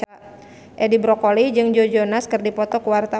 Edi Brokoli jeung Joe Jonas keur dipoto ku wartawan